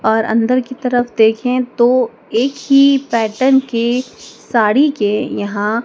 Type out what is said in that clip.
और अंदर की तरफ देखें तो एक ही पैटर्न के साड़ी के यहां--